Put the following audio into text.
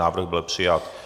Návrh byl přijat.